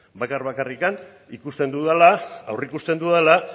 bakar bakarrik ikusten dudala aurreikusten dudala